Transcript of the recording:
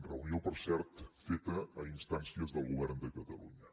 reunió per cert feta a instàncies del govern de catalunya